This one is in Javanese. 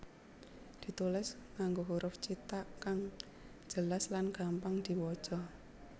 ditulis nganggo huruf cithak kang jelas lan gampang diwaca